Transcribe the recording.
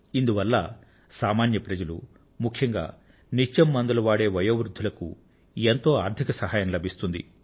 ఇందువల్ల సామాన్య ప్రజలు ముఖ్యంగా నిత్యం మందులు వాడే వయోవృద్ధులకు ఎంతో ఆర్థిక సహాయం లభిస్తుంది